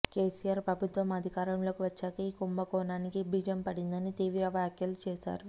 కేసీఆర్ ప్రభుత్వం అధికారంలోకి వచ్చాకే ఈ కుంభకోణానికి బీజం పడిందని తీవ్ర వ్యాఖ్యలు చేశారు